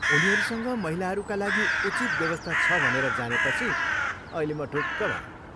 उनीहरूसँग महिलाहरूका लागि उचित व्यवस्था छ भनेर जानेपछि अहिले म ढुक्क भएँ।